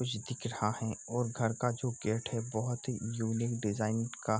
कुछ दिख रहा है और घर का गेट जो है बहोत ही यूनिक डिजाइन का --